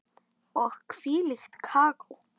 Og hvílíkt kakó.